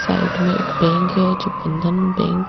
side में एक bank है जो बंधन बैंक --